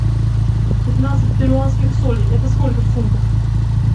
пятнадцать перуанских солей это сколько в фунтах